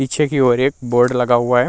पीछे की ओर एक बोर्ड लगा हुआ है।